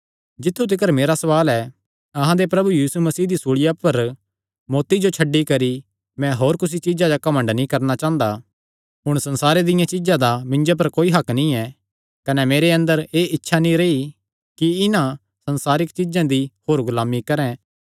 जित्थु तिकर मेरा सवाल ऐ अहां दे प्रभु यीशु मसीह दी सूल़िया पर मौत्ती जो छड्डी करी मैं होर कुसी चीज्जा पर घमंड नीं करणा चांह़दा हुण संसारे दियां चीज्जां दा मिन्जो पर कोई हक्क नीं ऐ कने मेरे अंदर एह़ इच्छा नीं रेई कि इन्हां संसारिक चीज्जां दी होर गुलामी करैं